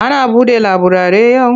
Ana buɗe laburare yau?